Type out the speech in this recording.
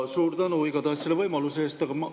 Suur tänu selle võimaluse eest!